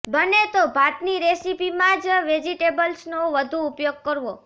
બને તો ભાતની રેસિપીમાં જ વેજિટેબલ્સનો વધુ ઉપયોગ કરવો